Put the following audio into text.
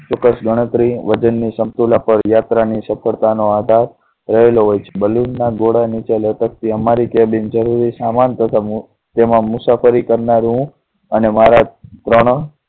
ચોક્કસ ગણતરી વજન ની સમતુલા પર યાત્રા ની સફળતા નો આધાર રહેલો હોય છે balloon ના ગોડા નીચે લટકતી અમારી cabin જરૂરી સામાન તથા તેમાં મુસાફરી કરનારાઓ અને મારા